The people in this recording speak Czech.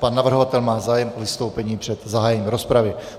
Pan navrhovatel má zájem o vystoupení před zahájením rozpravy.